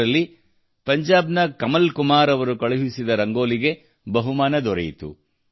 ಇದರಲ್ಲಿ ಪಂಜಾಬ್ ನ ಕಮಲ್ ಕುಮಾರ್ ಅವರು ಕಳುಹಿಸಿದ ರಂಗೋಲಿಗೆ ಬಹುಮಾನ ದೊರೆಯಿತು